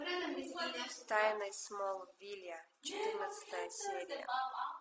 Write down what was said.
тайны смолвиля четырнадцатая серия